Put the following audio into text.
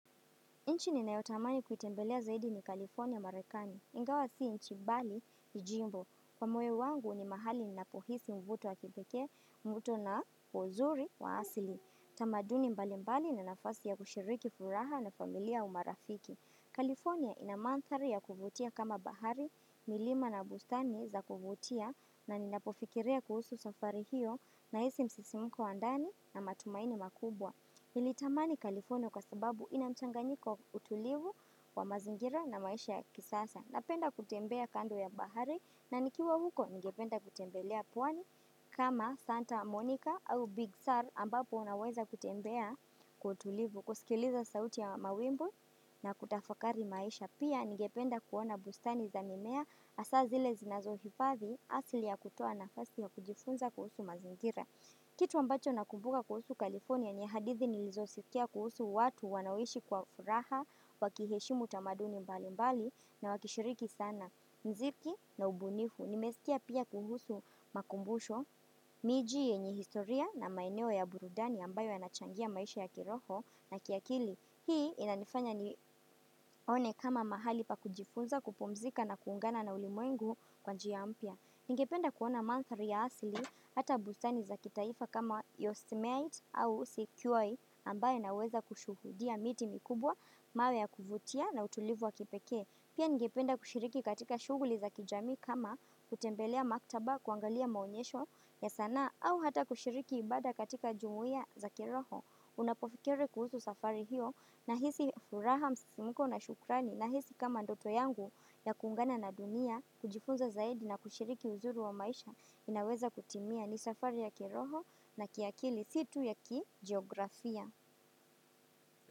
Nchi ninayotamani kuitembelea zaidi ni California, Marekani. Ingawa si nchi bali ni jimbo. Kwa moyo wangu ni mahali ninapohisi mvuto wa kipekee, mvuto na kwa uzuri wa asili. Tamaduni mbali mbali na nafasi ya kushiriki furaha na familia au marafiki. California ina mandhari ya kuvutia kama bahari, milima na bustani za kuvutia na ninapofikiria kuhusu safari hiyo nahisi msisimuko wa ndani na matumaini makubwa. Nilitamani California kwa sababu ina mchanganiko utulivu wa mazingira na maisha ya kisasa. Napenda kutembea kando ya bahari na nikiwa huko ningependa kutembelea pwani kama Santa Monica au Big Sur ambapo unaweza kutembea kwa utulivu kusikiliza sauti ya mawimbo na kutafakari maisha. Pia ningependa kuona bustani za mimea hasa zile zinazohifathi asili ya kutoa nafasi ya kujifunza kuhusu mazingira. Kitu ambacho nakumbuka kuhusu California ni hadithi nilizosikia kuhusu watu wanaoishi kwa furaha wakiheshimu tamaduni mbali mbali na wakishiriki sana muziki na ubunifu. Nimesikia pia kuhusu makumbusho, miji yenye historia na maeneo ya burudani ambayo yanachangia maisha ya kiroho na kiakili. Hii inanifanya nione kama mahali pa kujifunza kupumzika na kuungana na ulimuwengu kwa njia mpya. Ningependa kuona mandhari ya asili hata bustani za kitaifa kama Yosemite au Sequoia ambaye naweza kushuhudia miti mikubwa, mawe ya kuvutia na utulivu wa kipekee. Pia ningependa kushiriki katika shughuli za kijamii kama kutembelea maktaba kuangalia maonyesho ya sanaa au hata kushiriki ibada katika jumuia za kiroho. Ninapofikiri kuhusu safari hiyo nahisi furaha msisimko na shukrani, nahisi kama ndoto yangu ya kuungana na dunia, kujifunza zaidi na kushiriki uzuri wa maisha inaweza kutimia ni safari ya kiroho na kiakili si tu ya kijiografia.